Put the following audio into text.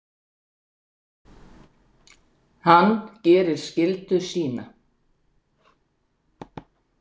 Hann gerir skyldu sína.